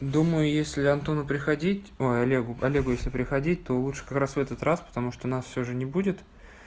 думаю если антону приходить ой олегу олегу если приходить то лучше как раз в этот раз потому что нас всё же не будет